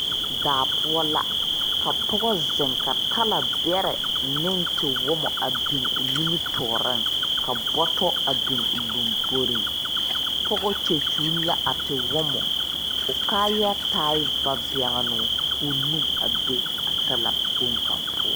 Daa poɔ la ka pɔga zeŋ ka talaberɛ ne tewomo biŋ ɔ nimitoɔring ka bɔtɔ a biŋ a lɔmboring pɔgɔ kye kyul la a te womo ɔ kaaya taa vabeŋnuu kou nu a be a talakpoŋ kaŋa poɔ.